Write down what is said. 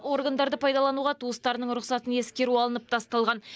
органдарды пайдалануға туыстарының рұқсатын ескеру алынып тасталған